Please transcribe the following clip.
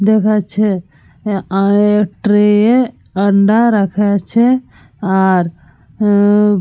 দেখাচ্ছে আঃ ট্রে -এ আন্ডা রাখা আছে আর --